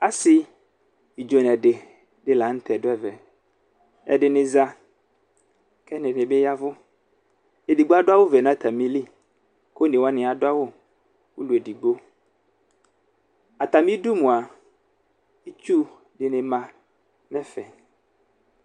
Asi ɩdzo nʋ ɛdi di dʋ ɛvɛ ɛdini za kʋ ɛdini bi yavʋ edigbo adʋ awʋvɛ nʋ atamili kʋ onewani adʋ awʋ ulu edigbo atami idʋ mʋa itsu dini ma nʋ ɛfɛ